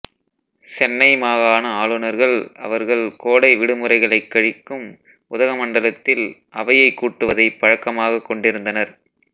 சென்னை மாகாண ஆளுநர்கள் அவர்கள் கோடை விடுமுறைகளைக் கழிக்கும் உதகமண்டலத்தில் அவையைக் கூட்டுவதைப் பழக்கமாகக் கொண்டிருந்தனர்